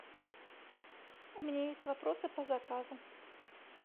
у меня есть вопросы по заказу